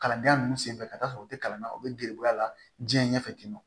Kalandenya ninnu senfɛ ka t'a sɔrɔ u tɛ kalan na u bɛ giriya diɲɛ ɲɛfɛ ten nɔ